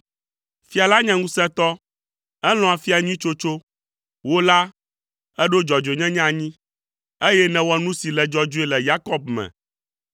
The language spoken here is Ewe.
Fia la nye ŋusẽtɔ, elɔ̃a afia nyui tsotso, wò la, èɖo dzɔdzɔenyenye anyi, eye nèwɔ nu si le dzɔdzɔe le Yakob me.